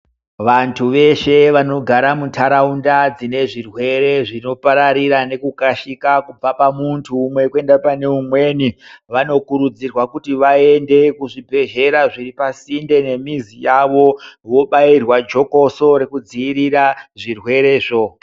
Vantu veshe vanogara mu ndaraunda dzine zvirwere zvino pararira neku kashika kubva pa muntu umwe kuenda pane umweni kuenda pane umweni vanokurudzirwa kuti vaende ku zvibhedhlera zviri pasinde ne mizi yavo vobairwa jokoso reku dzivirira zvirwere zvo.